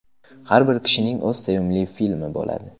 Har bir kishining o‘z sevimli filmi bo‘ladi.